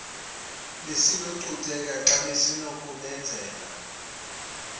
besinokucutheka xa besinokubenzela